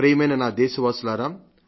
ప్రియమైన నా దేశవాసులారా